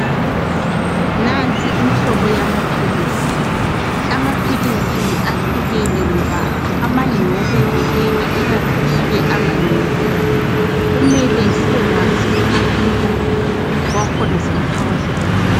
nansi imhlobo yamaphilisi amaphilisi ahlukene ngoba amanye ngokuvikela ikanti ke amanye ngokwelapha kumele sibekwazi umahluko wakhona singakawasebenzisi